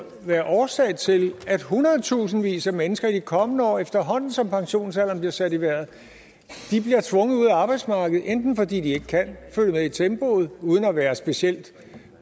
være årsag til at hundredtusindvis af mennesker i de kommende år efterhånden som pensionsalderen bliver sat i vejret bliver tvunget ud af arbejdsmarkedet enten fordi de ikke kan følge med tempoet uden at være specielt